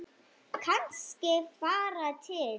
Kannski fara til